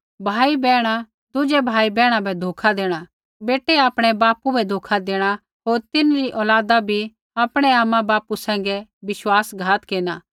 भाईबैहणा दुज़ै भाईबैहणा बै धोखा देणा बेटै आपणै बापू बै धोखा देणा होर तिन्हरी औलादा बी आपणै आमाबापू सैंघै विश्वासघात केरना